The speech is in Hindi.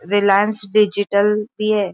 रिलायन्स डिजिटल भी है|